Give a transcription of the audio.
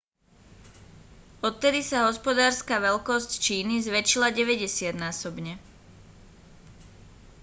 odvtedy sa hospodárska veľkosť číny zväčšila 90-násobne